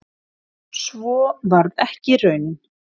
Svo varð ekki raunin